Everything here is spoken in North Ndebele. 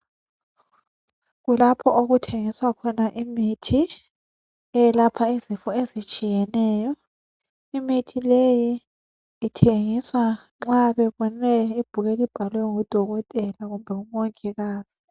Kulapho okuthengiswa khona imithi eyelapha izifo ezitshiyeneyo. Imithi leyi ithengiswa nxa bebone ibhuku elibhalwe ngudokotela kumbe ngumongikazi.